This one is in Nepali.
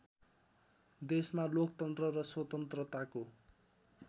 देशमा लोकतन्त्र र स्वतन्त्रताको